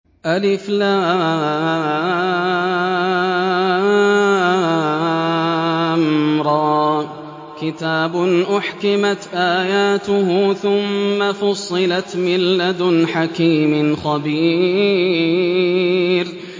الر ۚ كِتَابٌ أُحْكِمَتْ آيَاتُهُ ثُمَّ فُصِّلَتْ مِن لَّدُنْ حَكِيمٍ خَبِيرٍ